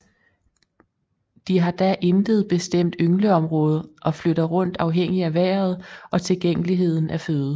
De har da intet bestemt yngleområde og flytter rundt afhængig af vejret og tilgængeligheden af føde